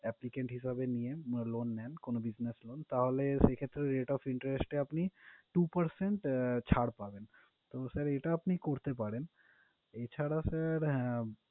applicant হিসাবে নিয়েন, মানে loan নেন কোন business loan তাহলে সেক্ষেত্রে, rate of interest এ আপনি two percent ছাড় পাবেন। তো sir এটা আপনি করতে পারেন, এছাড়া sir হ্যাঁ